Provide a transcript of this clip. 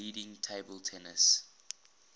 leading table tennis